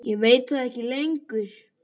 Ég veit það ekki lengur.